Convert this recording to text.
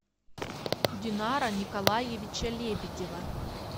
динара николаевича лебедева